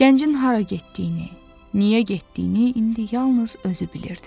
Gəncin hara getdiyini, niyə getdiyini indi yalnız özü bilirdi.